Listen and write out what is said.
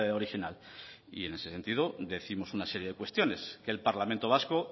original y en ese sentido décimos una serie de cuestiones que el parlamento vasco